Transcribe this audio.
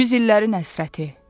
Yüz illərin həsrəti.